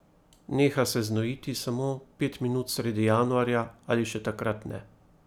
Neha se znojiti samo pet minut sredi januarja ali še takrat ne.